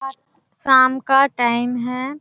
शाम का टाइम है।